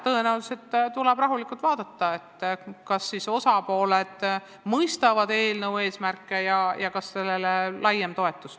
Tõenäoliselt tuleb rahulikult vaadata, kas osapooled mõistavad eelnõu eesmärke ja kas sellele tuleb laiem toetus.